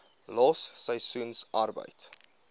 los seisoensarbeid